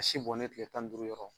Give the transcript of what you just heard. A si bɔnen kile tan ni duuru yɔrɔ.